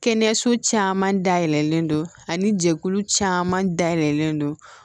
Kɛnɛyaso caman dayɛlɛlen don ani jɛkulu caman dayɛlɛlen don